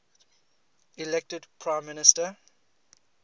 elected prime minister